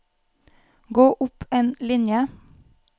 Gå opp en linje